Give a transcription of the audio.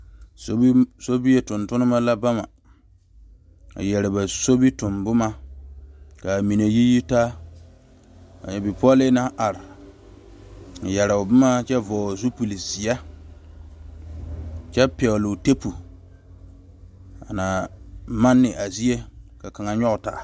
Sobie tontuma la ba ma a yeere ba sobitoŋ boma yiyi taa bipole naŋ are yeero boma kyɛ vɔgle zupele ziɛ kyɛ pegle tiepu a na maane a zie ka kaŋa nyoŋ taa.